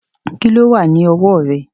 Kíló wà ní ọwọ́ rẹ̀?